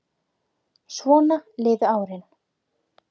Svona liðu árin.